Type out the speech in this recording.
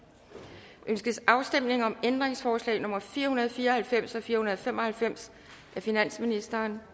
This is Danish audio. ønskes afstemning om ændringsforslag nummer fire hundrede og fire og halvfems og fire hundrede og fem og halvfems af finansministeren